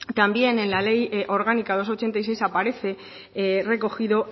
también en el ley orgánica dos barra ochenta y seis aparece recogido